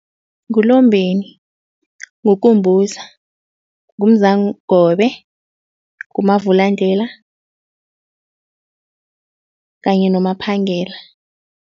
NguLombeni, nguKumbuza, nguMzangobe, nguMavulandlela kanye noMaphangela.